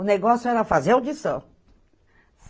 O negócio era fazer audição.